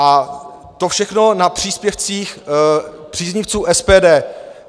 A to všechno na příspěvcích příznivců SPD.